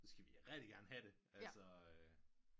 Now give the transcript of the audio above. Så skal vi rigtigt gerne have det